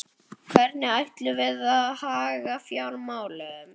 Hvernig ætlum við að haga fjármálunum?